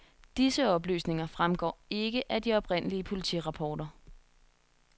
Disse oplysninger fremgår ikke af de oprindelige politirapporter.